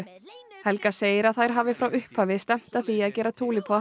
helga segir að þær hafi frá upphafi stefnt að því að gera